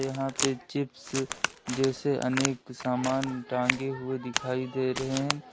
यहां पे चिप्स जैसे अनेक सामान टांगे हुए दिखाई दे रहे हैं।